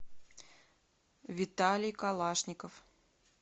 виталий калашников